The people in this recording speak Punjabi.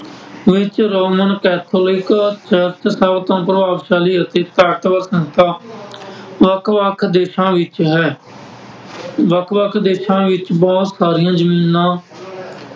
ਵਿੱਚ ਰੋਮਨ ਕੈਥੋਲਿਕ ਚਰਚ ਸਭ ਤੋਂ ਪ੍ਰਭਾਵਸ਼ਾਲੀ ਅਤੇ ਤਾਕਤਵਰ ਸੰਸਥਾ। ਵੱਖ-ਵੱਖ ਦੇਸ਼ਾਂ ਵਿੱਚ ਹੈ, ਵੱਖ ਵੱਖ ਦੇਸ਼ਾਂ ਵਿੱਚ ਬਹੁਤ ਸਾਰੀਆਂ ਜ਼ਮੀਨਾਂ ਵਿੱਚ ਸਨ ।